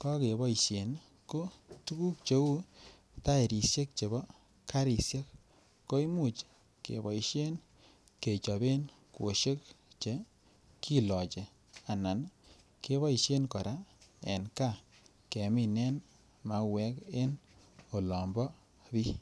keboisien ko tuguk cheu taeresiek chebo karisiek ko Imuch keboisien kechoben kwosiek Che kilochi anan keboisien kora en gaa keminen mauek en olon bo bii